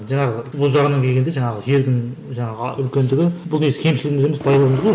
жаңағы келгенде жаңағы жердің жаңағы үлкендігі бұл негізі кемшілігіміз емес байлығымыз ғой